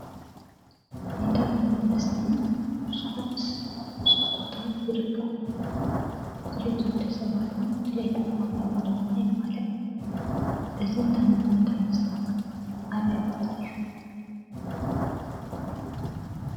እንዳ ምግብን መስተን ብዙሓት ተኸፊቱ ቦታ ይርከብ፡፡ ድልየት ወደ ሰባትን ድለየት ዓማዊልን ድማ የማለእ እዚ እንዳ ምግብን እንዳ መስተን ኣበይ ቦታ እዩ?